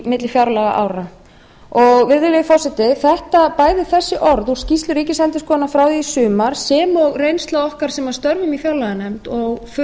milli fjárlagaára virðulegi forseti bæði þessi orð úr skýrslu ríkisendurskoðunar frá því í sumar sem og reynsla okkar sem störfum í fjárlaganefnd